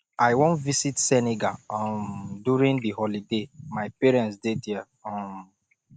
i wan visit senegal um during the holiday my parents dey there um